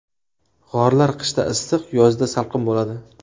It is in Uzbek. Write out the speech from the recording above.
G‘orlar qishda issiq, yozda salqin bo‘ladi.